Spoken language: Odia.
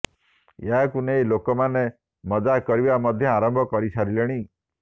ଏହାକୁ ନେଇ ଲୋକ ମାନେ ମଜାକ କରିବା ମଧ୍ୟ ଆରମ୍ଭ କରିସାରିଲେଣି